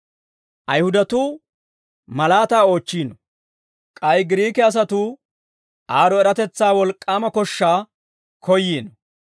Ayihudatuu malaataa oochchiino. K'ay Giriike asatuu aad'd'o eratetsaa wolk'k'aama koshshaa koyyiino.